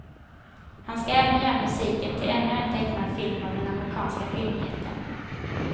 Han ska även göra musiken till ännu en tecknad film av den amerikanska filmjätten.